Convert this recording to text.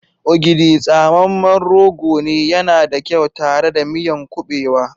Ogidi, tsamemen rogo ne, yana da kyau tare da miyan kubewa.